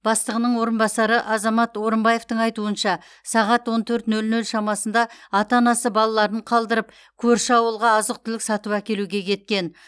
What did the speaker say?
бастығының орынбасары азамат орымбаевтың айтуынша сағат он төрт нөл нөл шамасында ата анасы балаларын қалдырып көрші ауылға азық түлік сатып әкелуге кеткен